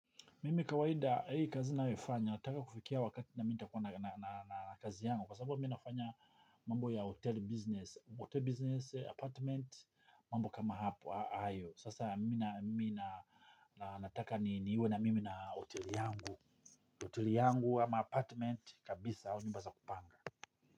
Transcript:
Mimi kawaida, hii kazi nayofanya, nataka kufikia wakati na mimi nitakuwa na kazi yangu kwa sababu, ninafanya mambo ya hotel business, hotel business, apartment, mambo kama hayo. Sasa, mimi nataka niwe na mimi na hotel yangu, hotel yangu ama apartment, kabisa.